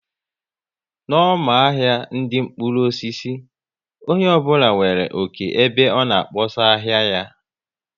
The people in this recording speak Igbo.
N' ọma ahia ndị mkpụrụ osisi, onye ọ bụla nwere oké ebe ọ na kpọsaa ahịa ya